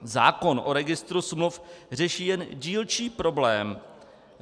Zákon o registru smluv řeší jen dílčí problém.